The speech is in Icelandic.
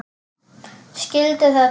Skildi þetta ekki.